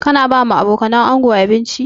Ka na ba wa abokanan ango abinci?